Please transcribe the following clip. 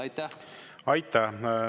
Aitäh!